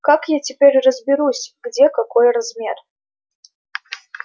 как я теперь разберусь где какой размер